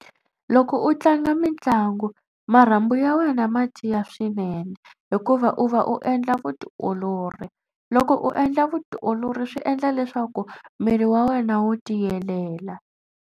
Loko u tlanga mitlangu marhambu ya wena ma tiya swinene hikuva u va u endla vutiolori. Loko u endla vutiolori swi endla leswaku miri wa wena wu tiyelela.